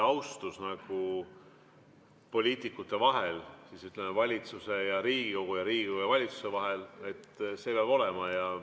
Austus poliitikute vahel, valitsuse ja Riigikogu ning Riigikogu ja valitsuse vahel peab olema.